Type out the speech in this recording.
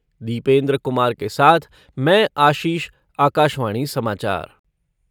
दीपेन्द्र कुमार के साथ मैं आशीष, आकाशवाणी समाचार।